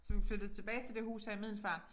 Så vi flyttet tilbage til det hus her i Middelfart